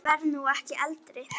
Ég verð nú ekki eldri!